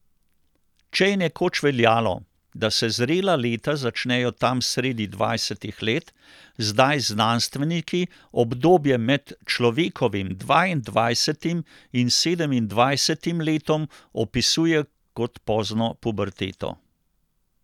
Če je nekoč veljalo, da se zrela leta začnejo tam sredi dvajsetih let, zdaj znanstveniki obdobje med človekovim dvaindvajsetim in sedemindvajsetim letom opisujejo kot pozno puberteto.